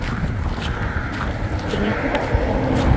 ਛੱਡ ਕੇ ਆਉਂਦਾ